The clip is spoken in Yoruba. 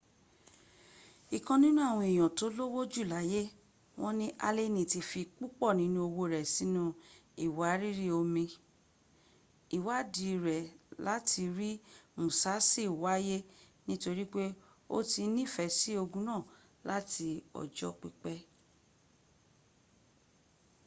ikan ninu awon eyan to lowo ju laye won ni aleni ti fi pupo ninu owo e sinu iwariri omi iwaadi re lati ri musasi waye nitorip o ti nifesi ogin naa lati ojo pipe